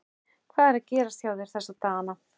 Hvað er að gerast hjá þér þessa dagana?